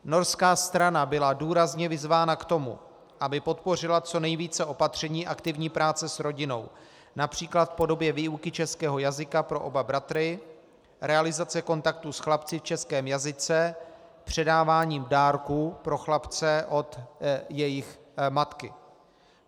Norská strana byla důrazně vyzvána k tomu, aby podpořila co nejvíce opatření aktivní práce s rodinou, například v podobě výuky českého jazyka pro oba bratry, realizace kontaktů s chlapci v českém jazyce, předávání dárků pro chlapce od jejich matky.